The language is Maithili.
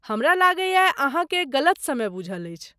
हमरा लगैए अहाँ के गलत समय बूझल अछि।